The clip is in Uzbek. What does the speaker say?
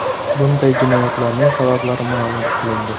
Bunday jinoyatlarning sabablari ma’lum qilindi.